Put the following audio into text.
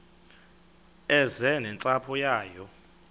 eze nentsapho yayo